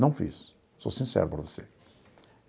Não fiz, sou sincero para você.